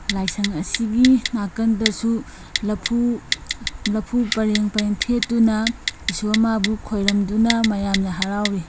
ꯂꯥꯢꯁꯪ ꯑꯁꯤꯒꯤ ꯅꯀꯟꯗꯁꯨ ꯂꯐꯨ ꯂꯐꯨ ꯄꯔꯦꯡ ꯄꯔꯦꯡ ꯊꯦꯠꯇꯨꯅ ꯢꯁꯣꯔ ꯃꯕꯨ ꯈꯣꯢꯌꯝꯗꯨꯅ ꯃꯌꯝꯅ ꯍꯔꯥꯎꯔꯤ꯫